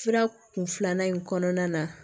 Fura kun filanan in kɔnɔna na